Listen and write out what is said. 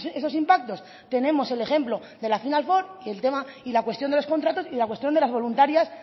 esos impactos tenemos el ejemplo de la final four y el tema y la cuestión de los contratos y la cuestión de las voluntarias